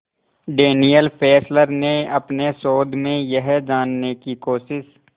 Daniel Fessler ने अपने शोध में यह जानने की कोशिश